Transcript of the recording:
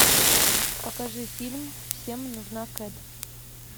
покажи фильм всем нужна кэт